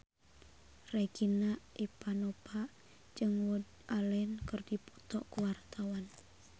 Regina Ivanova jeung Woody Allen keur dipoto ku wartawan